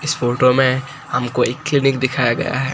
इस फोटो में हमको एक क्लीनिक दिखाया गया है।